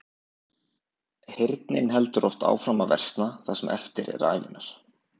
Heyrnin heldur oftast áfram að versna það sem eftir er ævinnar.